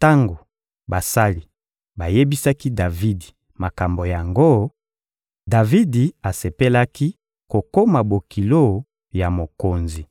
Tango basali bayebisaki Davidi makambo yango, Davidi asepelaki kokoma bokilo ya mokonzi.